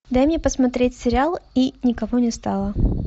дай мне посмотреть сериал и никого не стало